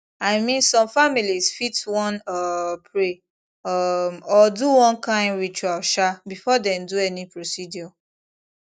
i mean some families fit wan um pray um or do one kind ritual um before dem do any procedure